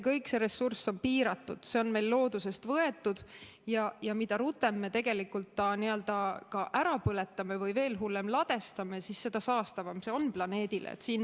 Kogu see ressurss on piiratud, see on meil loodusest võetud ja mida rutem me tegelikult selle ka ära põletame või veel hullem, ladestame, seda saastavam see planeedile on.